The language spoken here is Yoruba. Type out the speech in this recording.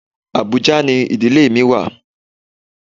Abuja ni ìdílé mi wà.